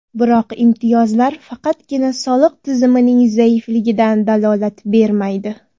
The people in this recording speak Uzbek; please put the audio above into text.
Biroq imtiyozlar faqatgina soliq tizimining zaifligidan dalolat bermaydi.